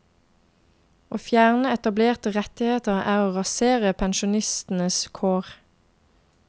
Å fjerne etablerte rettigheter er å rasere pensjonistenes kår.